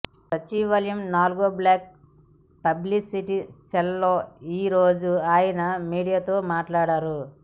సచివాలయం నాల్గో block publicity cell లో ఈరోజు ఆయన మీడియాతో మాట్లాడారు